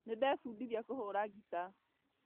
Nĩndebundithia kũhũra ngita